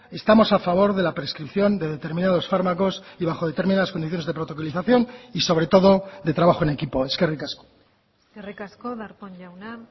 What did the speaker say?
estamos a favor de la prescripción de determinados fármacos y bajo determinadas condiciones de protocolización y sobre todo de trabajo en equipo eskerrik asko eskerrik asko darpón jauna